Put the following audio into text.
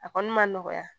A kɔni ma nɔgɔya